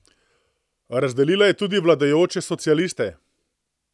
Razdelila je tudi vladajoče socialiste.